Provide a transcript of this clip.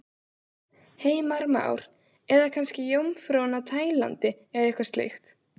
Heimir Már: Eða kannski Jómfrúin á Tælandi eða eitthvað slíkt?